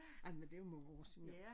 Ej men det jo mange år siden nu